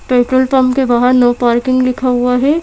Petrol pump के बाहर no parking लिखा हुआ है।